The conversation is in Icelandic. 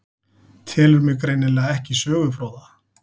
Telur mig greinilega ekki sögufróða.